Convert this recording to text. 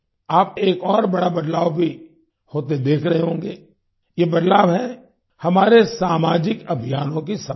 आप देश में एक और बढ़ा बदलाव भी होते देख रहे होंगे ये बदलाव है हमारे सामाजिक अभियानों की सफलता